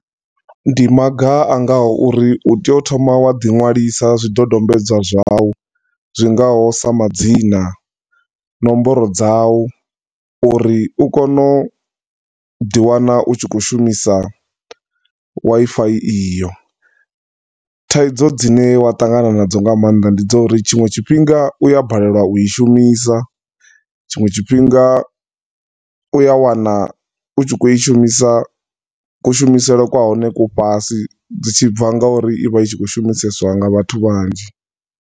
Ndi maga naga uri u tea u thoma wa ḓi nwalisa zwidodombedzwa zwau zwi ngaho sa madzina, nomboro dzawu uri u kone u ḓi wana u tshi khou shumisa Wi-Fi iyo. Thaidzo dzine wa ṱangana nadzo nga maanḓa ndi dzo uri tshinwe tshifhinga u ya balelwa u i shumisa, tshinwe tshifhinga u ya wana u tshi khou shumisa, ku shumisele kwa hone ku fhasi, zwi tshi bva nga u ri ivha i tshi khou shumiseswa nga vhathu vhanzhi.